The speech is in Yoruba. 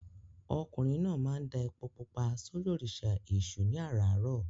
Ọkùnrin náà máa ń da epo pupa sórí òrìṣà Èṣù ní àràárọ̀.